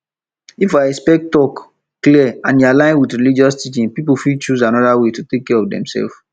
if expert talk clear and e align with religious teaching people fit choose another way to take care of demself